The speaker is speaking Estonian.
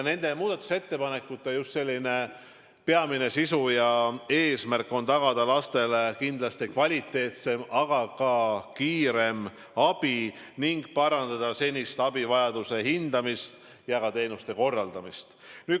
Nende muudatusettepanekute peamine sisu ja eesmärk ongi just tagada lastele kvaliteetsem, aga ka kiirem abi ning parandada senist abivajaduse hindamist ja teenuste korraldamist.